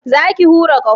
Za ki hura ƙaho?